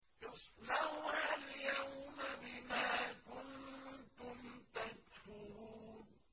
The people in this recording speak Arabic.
اصْلَوْهَا الْيَوْمَ بِمَا كُنتُمْ تَكْفُرُونَ